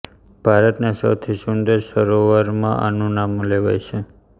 ભારતના સૌથી સુંદર સરોવરમાં આનું નામ લેવાય છે